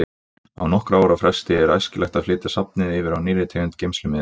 Á nokkurra ára fresti er æskilegt að flytja safnið yfir á nýrri tegund geymslumiðils.